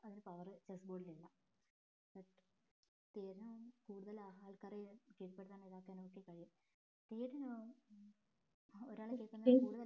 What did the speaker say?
ഒരു power chess board ൽ ഇല്ല but തീര്ന്നും കൂടുതൽ ആൾക്കാരെ കീഴ്പെടുത്താനോ ഇതാക്കാനോ ഒകെ കഴിയും തീര്ന്ന് ഉം ഒരാളെ